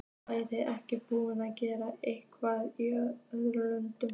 Væri ekki búið að gera eitthvað í öðrum löndum?